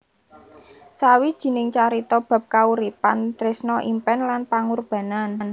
Sawijining carita bab kauripan tresna impèn lan pangurbanan